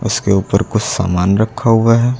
इसके उपर कुछ सामान रखा हुआ है।